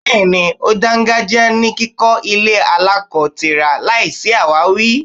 Bẹẹni, ó dàngájíá ní kíkọ ilé aláko-tira láìsí awawi.